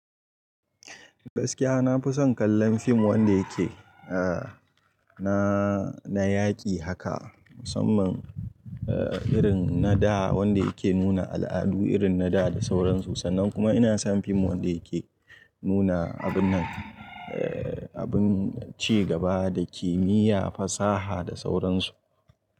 Gaskiya na fi son kallon fim wanda yake, eh, na, na yaƙi haka musamman, eh, irin na da wanda yake nuna al'adu irin na da da sauransu sannan kuma ina son fim wanda yake nuna abun nan, eh, abun ci gaba da kimiyya, fasaha da sauransu.